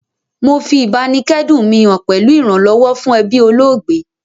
Mo fi ìbáníkẹ́dùn mi han pẹ̀lu ìrànlọ́wọ́ fún ebí olóògbé